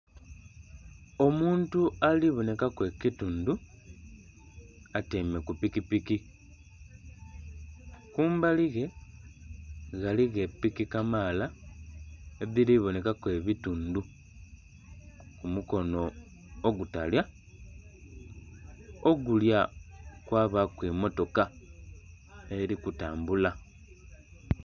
Omuntu alibonekaku ekitundu atyaime ku pikipiki kumbali ghe ghaligho epiki kamaala edhiri boonekaku ebitundu kumukono ogutalya, ogulya kwabaku emmotoka eri kutambula.